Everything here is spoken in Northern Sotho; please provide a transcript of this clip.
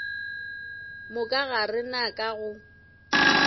moka ga rena ka go